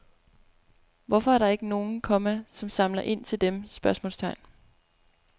Hvorfor er der ikke nogen, komma som samler ind til dem? spørgsmålstegn